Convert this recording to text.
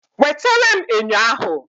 Wetere m enyo ahụ